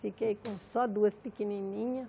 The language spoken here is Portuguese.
Fiquei com só duas pequenininhas.